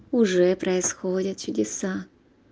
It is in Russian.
уже происходят чудеса